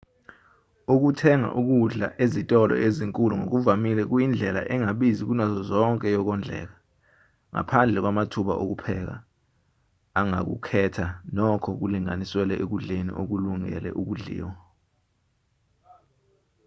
ukuthenga ukudla ezitolo ezinkulu ngokuvamile kuyindlela engabizi kunazo zonke yokondleka ngaphandle kwamathuba okupheka ongakukhetha nokho kulinganiselwe ekudleni okulungele udliwa